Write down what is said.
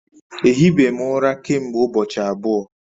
Ehi be m ura kemgbe ubochi abuo